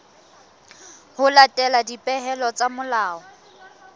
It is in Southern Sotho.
ho latela dipehelo tsa molao